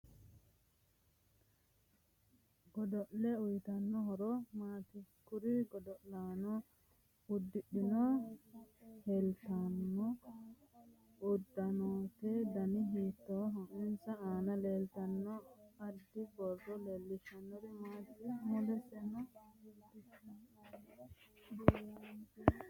Godolle uyiitanno horo maati kuri godo'laano uddidhe leeltanno uddanote dani hiitooho insa aana leeltanno addi borro leelishanori maati mulensa leelannori maatj